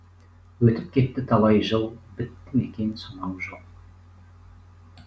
өтіп кетті талай жыл бітті ме екен сонау жол